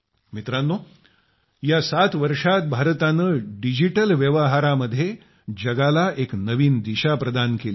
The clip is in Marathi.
मित्रांनो या 7 वर्षात भारताने डिजिटल व्यवहार मध्ये जगाला एक नवीन दिशा प्रदान केली आहे